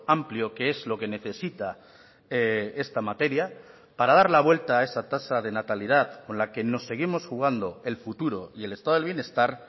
amplio que es lo que necesita esta materia para dar la vuelta a esa tasa de natalidad con la que nos seguimos jugando el futuro y el estado del bienestar